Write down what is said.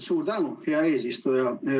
Suur tänu, hea eesistuja!